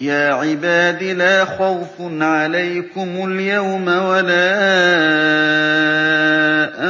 يَا عِبَادِ لَا خَوْفٌ عَلَيْكُمُ الْيَوْمَ وَلَا